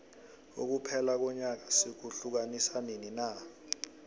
ukuphela konyaka sikuhiukanisa nini na